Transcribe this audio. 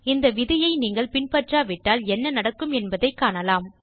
இந்த விதியை நீங்கள் பின்பற்றாவிட்டால் என்ன நடக்கும் என்பதைக் காணலாம்